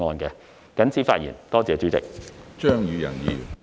謹此發言。多謝主席。